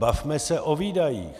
Bavme se o výdajích.